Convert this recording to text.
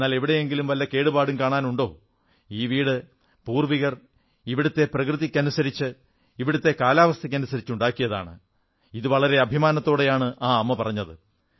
എന്നാൽ എവിടെയെങ്കിലും വല്ല കേടുപാടും കാണാനുണ്ടോ ഈ വീട് പൂർവ്വികർ ഇവിടത്തെ പ്രകൃതിക്കനുസരിച്ച് ഇവിടത്തെ കാലാവസ്ഥയ്ക്കനുസരിച്ച് ഉണ്ടാക്കിയതാണ് ഇത് വളരെ അഭിമാനത്തോടെയാണ് ആ അമ്മ പറഞ്ഞത്